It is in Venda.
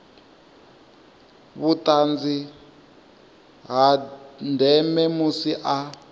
vhuṱanzi ha ndeme musi a